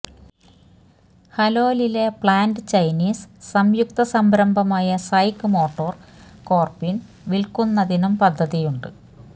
ഹലോലിലെ plant Chinese സംയുക്ത സംരംഭമായ SAIC motor കോര്പിന് വില്ക്കുന്നതിനും പദ്ധതിയുണ്ട്